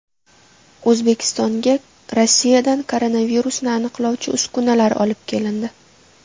O‘zbekistonga Rossiyadan koronavirusni aniqlovchi uskunalar olib kelindi.